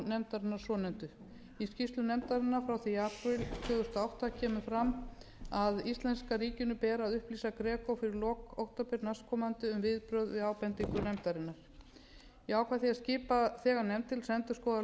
gregonefndarinnar svokölluðu í skýrslu nefndarinnar frá því apríl tvö þúsund og átta kemur fram að íslenska ríkinu ber að upplýsa gegn fyrir lok október næstkomandi um viðbrögð við ábendingum nefndarinnar ég ákvað því að skipa þegar nefnd til að endurskoða